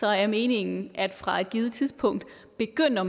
er meningen at man fra et givent tidspunkt begynder